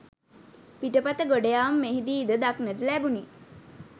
පිටපත ගොඩයාම මෙහිදී ද දක්නට ලැබුණි